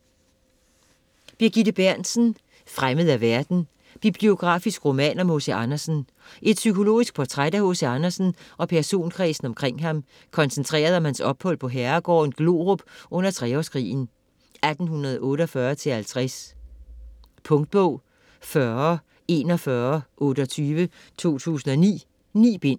Berntsen, Birgitte: Fremmed af verden: biografisk roman om H.C. Andersen Et psykologisk portræt af H.C. Andersen og personkredsen omkring ham koncentreret om hans ophold på herregården Glorup under Treårskrigen 1848-50. Punktbog 404128 2009. 9 bind.